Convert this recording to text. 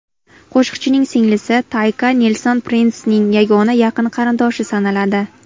Qo‘shiqchining singlisi Tayka Nelson Prinsning yagona yaqin qarindoshi sanaladi.